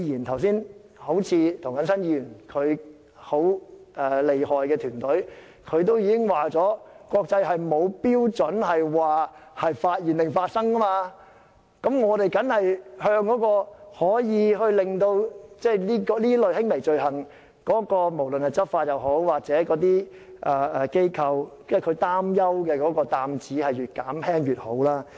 好像剛才涂謹申議員厲害的團隊已經指出，國際間沒有按"發現"還是"發生"的日期計算的標準，我們越減輕執法當局或執法機構擔憂這類輕微罪行的擔子當然就越好。